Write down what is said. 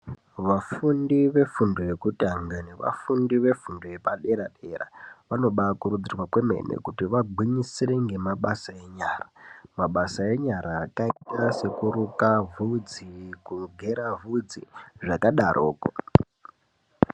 Vafundi vefundo yekutanga nevafundi vefundo yepadera-dera. Vanobakurudzirwa kwemene kuti vagwinyisire ngemabasa enyara. Mabasa enyara akaita sekuruka vhudzi, kugera vhudzi zvakadaroko.